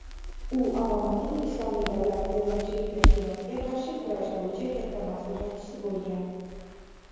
u Obamaning "Islomiy davlat" terrorchilik tashkilotiga qarshi kurash bo‘yicha katta maslahatchisi bo‘lgan.